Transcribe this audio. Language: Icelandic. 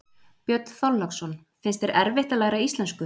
Björn Þorláksson: Finnst þér erfitt að læra íslensku?